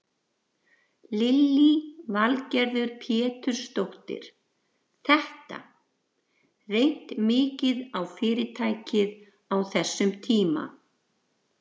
Lillý Valgerður Pétursdóttir: Þetta, reynt mikið á fyrirtækið á þessum tíma?